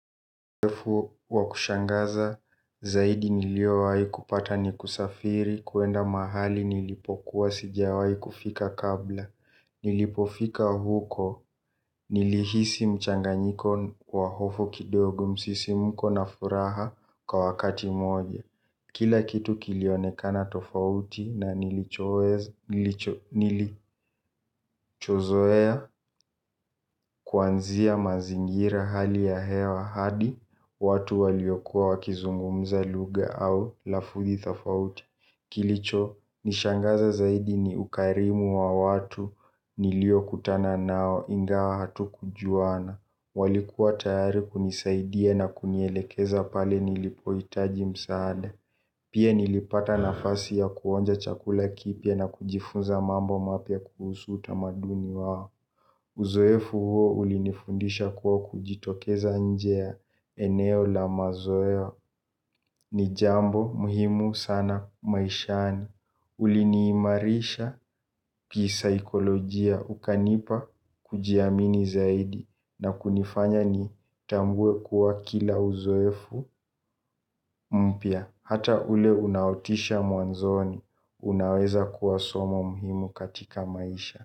Wakushangaza zaidi niliowahi kupata ni kusafiri kuenda mahali nilipokuwa sijawahi kufika kabla. Nilipofika huko nilihisi mchanganyiko wa hofu kidogo msisimko na furaha kwa wakati mmoja. Kila kitu kilionekana tofauti na nilichozoea kuanzia mazingira hali ya hewa hadi, watu waliokuwa wakizungumza lugha au lafudhi tofauti. Kilicho nishangaza zaidi ni ukarimu wa watu nilio kutana nao ingawa hatukujuana. Walikuwa tayari kunisaidia na kunielekeza pale nilipo hitaji msaada. Pia nilipata nafasi ya kuonja chakula kipya na kujifunza mambo mapya kuhusu utamaduni wao. Uzoefu huo ulinifundisha kuwa kujitokeza nje ya eneo la mazoeo ni jambo muhimu sana maishani kuliniimarisha kisaikolojia ukanipa kujiamini zaidi. Na kunifanya nitambue kuwa kila uzoefu mpya hata ule unaotisha mwanzoni, unaweza kuwa somo muhimu katika maisha.